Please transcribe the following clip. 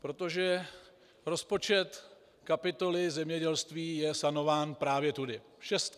Protože rozpočet kapitoly zemědělství je sanován právě tudy.